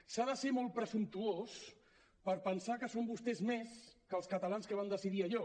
s’ha de ser molt presumptuós per pensar que són vostès més que els catalans que van decidir allò